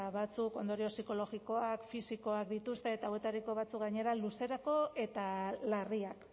batzuk ondorio psikologikoak fisikoak dituzte eta hauetariko batzuk gainera luzerako eta larriak